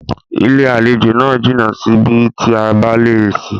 Ilé-àlejò náà jìnà sí bi tí a balẹ̀ sí.